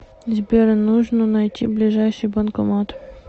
сбер нужно найти ближайший банкомат